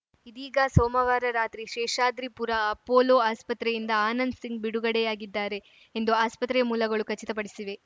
ಇದೀಗ ಸೋಮವಾರ ರಾತ್ರಿ ಶೇಷಾದ್ರಿಪುರ ಅಪೋಲೊ ಆಸ್ಪತ್ರೆಯಿಂದ ಆನಂದ್‌ಸಿಂಗ್‌ ಬಿಡುಗಡೆಯಾಗಿದ್ದಾರೆ ಎಂದು ಆಸ್ಪತ್ರೆಯ ಮೂಲಗಳು ಖಚಿತಪಡಿಸಿವೆ